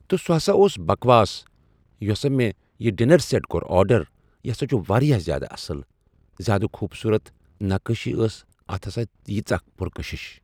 تہٕ سُہ ہسا اوس بکواس یُس ہسا مےٚ یہِ ڈِنر سیٚٹ کوٚر آڈر یہِ ہسا چھُ واریاہ زیادٕ اصٕل زیادٕ خوٗبصوٗرت نقٲشی ٲس اتھ ہسا ٲس ییٖژاہ کٔشش